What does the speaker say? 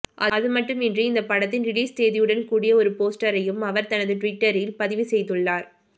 அதுமட்டுமின்றி இந்த படத்தின் ரிலீஸ் தேதியுடன் கூடிய ஒரு போஸ்டரையும் அவர் தனது டுவிட்டரில் பதிவு செய்துள்ளார்